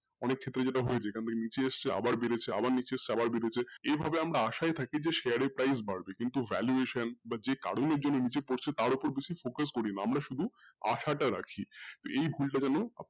অনেক হয়েছে আবার নীচে এসছে আবার বেড়েছে আবার নীচে এসছে আবার বেড়েছে এইভাবে আমরা আশায় থাকি যে share এর price বাড়বে কিন্তু valuation বা যে কারনের জন্য নিজে করছে তার ওপরে বেশি focus করি না আমরা শুধু আশাটা রাখি এই ভুলটা যেন আপনি,